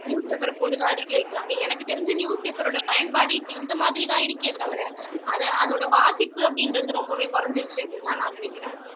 newspaper போட்டுதா அடுக்கி வக்கிறாங்க எனக்கு தெரிஞ்சு newspaper ஓட பயன்பாடு இப்போ இந்த மாதிரி தான் இருக்கே தவிர அதை அதோட வாசிப்பு அப்படின்றது ரொம்பவே குறைஞ்சுருச்சு அப்படின்னு தான் நினைக்கிறேன்